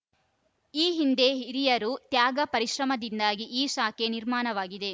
ಈ ಹಿಂದೆ ಹಿರಿಯರು ತ್ಯಾಗ ಪರಿಶ್ರಮದಿಂದಾಗಿ ಈ ಶಾಖೆ ನಿರ್ಮಾಣವಾಗಿದೆ